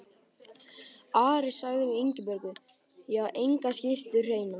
Ari sagði við Ingibjörgu: Ég á enga skyrtu hreina.